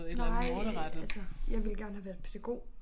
Nej altså jeg ville gerne have været pædagog